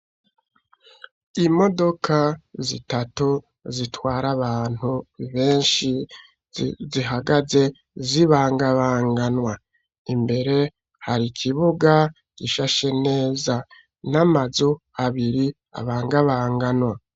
Imodoka zitatu, zitwara abantu benshi, zihagaze zibangabanganwa; imbere hari ikibuga gishashe neza, n'amazu abiri abangabanganwa.